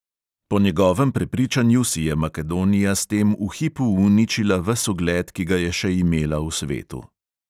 Po njegovem prepričanju si je makedonija s tem v hipu uničila ves ugled, ki ga je še imela v svetu.